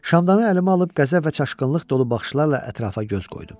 Şamdanı əlimə alıb qəzəb və çaşqınlıq dolu baxışlarla ətrafa göz qoydum.